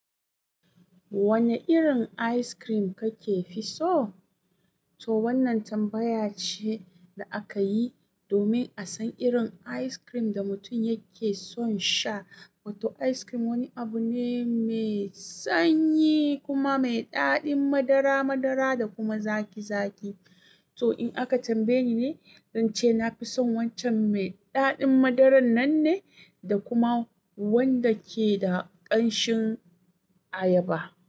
Wanne irin ice cream kake fi so? To wannan tambaya ce da aka yi domin a san irin ice cream da mutum yake son sha. Wato ice cream wani abu ne mai sanyi kuma mai daɗin madara madara da kuma zaƙi zaƙi. To in aka tambaye ni, nace na fi son waccan mai daɗin madaran nan ne, da kuma wanda ke da ƙanshin ayaba.